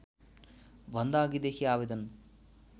भन्दा अघिदेखि आवेदन